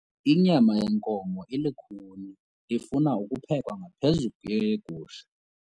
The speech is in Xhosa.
Inyama yenkomo ilukhuni ifuna ukuphekwa ngaphezu kweyegusha.